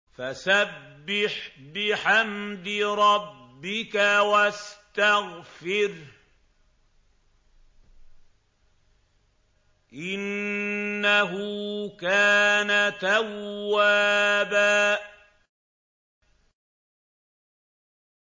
فَسَبِّحْ بِحَمْدِ رَبِّكَ وَاسْتَغْفِرْهُ ۚ إِنَّهُ كَانَ تَوَّابًا